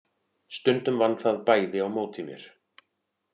Stundum vann það bæði á móti mér.